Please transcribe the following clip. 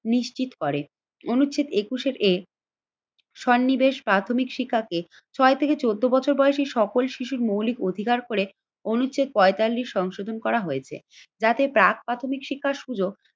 নিশ্চিত করে। অনুচ্ছেদ একুশের এ সন্নিবেশ প্রাথমিক শিক্ষাকে ছয় থেকে চোদ্দ বছর বয়সী সকল শিশুর মৌলিক অধিকার করে অনুচ্ছেদ পঁয়তাল্লিশ সংশোধন করা হয়েছে। যাতে প্রাক প্রাথমিক শিক্ষার সুযোগ